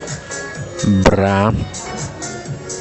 бра